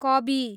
कबी